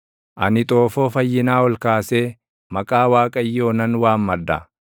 Ani xoofoo fayyinaa ol kaasee maqaa Waaqayyoo nan waammadha.